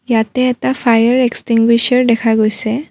ইয়াতে এটা fire extinguisher দেখা গৈছে।